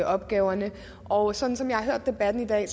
opgaverne og sådan som jeg har hørt debatten i dag